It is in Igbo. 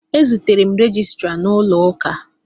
E zutere m rejistra n'ụlọụka.